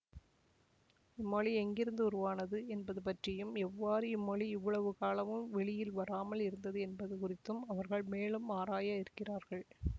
இம்மொழி எங்கிருந்து உருவானது என்பது பற்றியும் எவ்வாறு இம்மொழி இவ்வளவு காலமும் வெளியில் வராமல் இருந்தது என்பது குறித்தும் அவர்கள் மேலும் ஆராயவிருக்கிறார்கள்